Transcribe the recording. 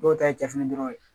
Dɔw ta ye cɛfiri dɔrɔn ye